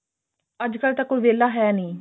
ਅੱਜਕਲ ਤਾਂ ਕੋਈ ਵਿਹਲਾ ਹੈ ਨਹੀਂ